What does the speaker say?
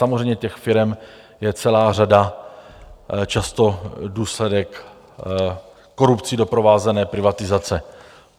Samozřejmě těch firem je celá řada, často důsledek korupcí doprovázené privatizace.